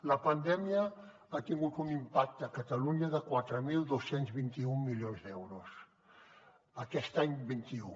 la pandèmia ha tingut un impacte a catalunya de quatre mil dos cents i vint un milions d’euros aquest any vint un